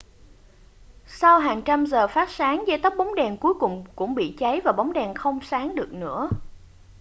sau hàng trăm giờ phát sáng dây tóc bóng đèn cuối cùng cũng bị cháy và bóng đèn không sáng được nữa